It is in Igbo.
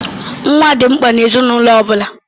Nwa dị mkpa n'ezinaụlọ ọ bụla.